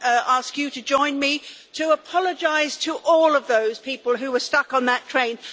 ask you to join me in apologising to all of those people who were stuck on that train?